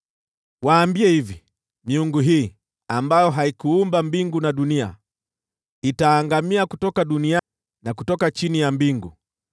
“Waambie hivi: ‘Miungu hii, ambayo haikuumba mbingu na dunia, itaangamia kutoka dunia na kutoka chini ya mbingu.’ ”